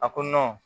A ko